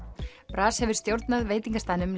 bras hefur stjórnað veitingastaðnum